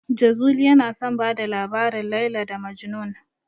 Jazuli yana son bada labarin "Laila da Majnun".